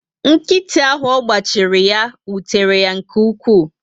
Nkịtị áhù ọgba chiri ya, wutere yá nke ukwu